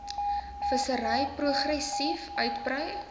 vissery progressief uitbrei